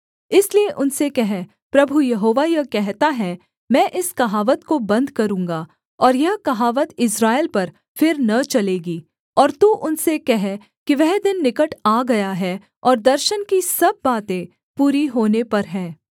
इसलिए उनसे कह प्रभु यहोवा यह कहता है मैं इस कहावत को बन्द करूँगा और यह कहावत इस्राएल पर फिर न चलेगी और तू उनसे कह कि वह दिन निकट आ गया है और दर्शन की सब बातें पूरी होने पर हैं